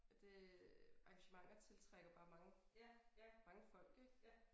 At det arrangementer tiltrækker bare mange mange folk ik